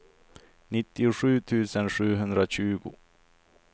nittiosju tusen sjuhundratjugo